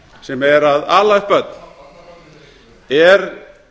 sem er að ala upp börn er